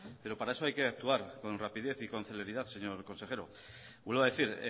pero para eso hay que actuar con rapidez y con celeridad señor consejero vuelvo a decir